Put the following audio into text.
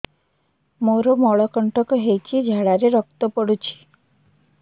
ମୋରୋ ମଳକଣ୍ଟକ ହେଇଚି ଝାଡ଼ାରେ ରକ୍ତ ପଡୁଛି